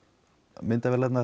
myndavélarnar